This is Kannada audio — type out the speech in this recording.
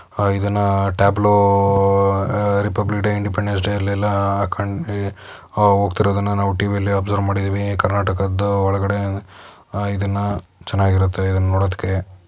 ಹ ಇದನ್ನಾ ಟ್ಯಾಬ್ಲೊ ಅ ರಿಪಬ್ಲಿಕ್ ಡೇ ಇಂಡಿಪೆಂಡೆನ್ಸ್ ಡೇ ಅಲ್ಲೆಲ್ಲಾ ಹಾಕಂಡ್ ಈ ಆ ಹೋಗ್ತಿರೋದನ್ನ ನಾವು ಟಿ_ವಿಯಲ್ಲಿ ಒಬ್ಸರ್ವ್ ಮಾಡಿದಿವೀ ಕರ್ನಾಟಕದ್ದು ಒಳಗಡೆ ಆ ಇದನ್ನಾ ಚೆನ್ನಾಗಿರುತ್ತೆ ಇದ್ನ್ ನೋಡೋದಕ್ಕೆ.